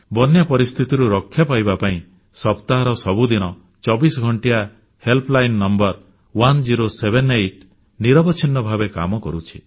ବନ୍ୟା ପରିସ୍ଥିତିରୁ ରକ୍ଷା ପାଇବା ପାଇଁ ସପ୍ତାହର ସବୁଦିନ 24 ଘଣ୍ଟିଆ ହେଲ୍ପଲାଇନ ନମ୍ବର 1078 ନିରବଚ୍ଛିନ୍ନ ଭାବେ କାମ କରୁଛି